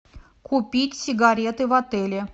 купить сигареты в отеле